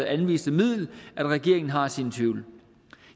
anviste middel at regeringen har sine tvivl